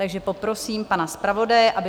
Takže poprosím pana zpravodaje, aby...